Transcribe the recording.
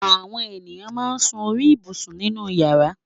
Àwọn ènìyàn máa ń sun orí ibùsùn nínú ìyàrá.